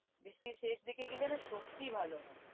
বৃষ্টির শেষ দিকে গেলে না সত্যি ভালো হয়।